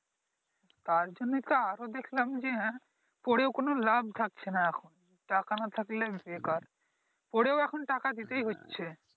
তার জন্যই তো আরো দেখলাম যে হ্যাঁ পড়েও কোন লাভ থাকছেনা এখন টাকা না থাকলে বেকার পড়েও এখন টাকা দিতেই হচ্ছে ।